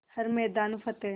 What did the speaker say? हर मैदान फ़तेह